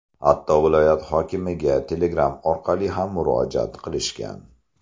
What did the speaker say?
Hatto viloyat hokimiga telegram orqali ham murojaat qilishgan.